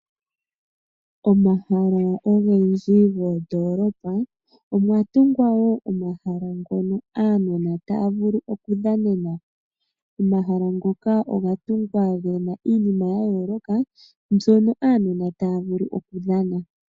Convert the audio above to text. Omahala ogendji goondoolopa, omwa tungwa wo omahala ngono aanona taya vulu oku dhanena. Omahala ngoka oga tungwa gena iinima ya yooloka mbyono aanona taya vulu oku dhana.